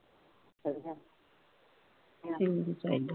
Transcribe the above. ਠੀਕ ਹੈ